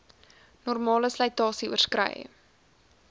normale slytasie oorskrei